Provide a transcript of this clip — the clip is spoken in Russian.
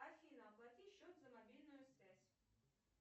афина оплати счет за мобильную связь